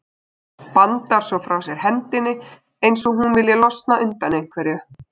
Bandar svo frá sér hendi eins og hún vilji losna undan einhverju.